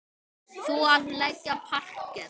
Þú að leggja parket.